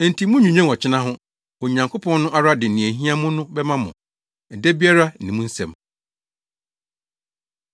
Enti munnnwinnwen ɔkyena ho. Onyankopɔn no ara de nea ehia mo no bɛma mo. Ɛda biara ne mu nsɛm.